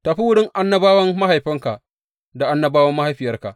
Tafi wurin annabawan mahaifinka da annabawa mahaifiyarka.